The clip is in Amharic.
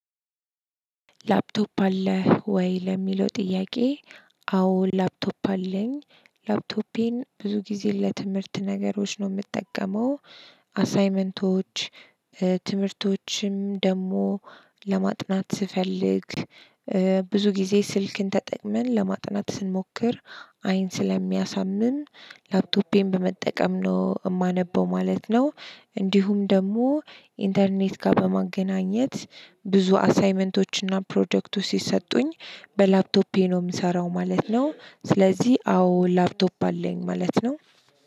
ላፕቶፕ አለህ ወይ ለሚለው ጥያቄ? አዎ ላፕቶፕ አለኝ ላፕቶፔን ብዙ ጊዜ ለትምህርት ነገሮች ነው የምጠቀመው አሳይመንቶች ትምህርቶችም ደግሞ ለማጥናት ስፈልግ። ብዙ ጊዜ ስልክን ተጠቅመን ለማጥናት ስንሞክር አይን ስለሚያሳምም ላፕቶፔን በመጠቀም ነው የማነበው ማለት ነው። እንዲሁም ደግሞ ኢንተርኔት ጋር በማገናኘት ብዙ አሳይመንቶችና ፕሮጀክቱ ሲሰጡኝ በላፕቶፔ ነው የምሰራው ማለት ነው። ስለዚህ አዎ ላፕቶፕ አለኝ ማለት ነው።